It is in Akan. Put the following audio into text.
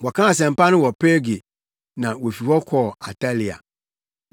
Wɔkaa asɛmpa no wɔ Perge na wofi hɔ baa Atalia.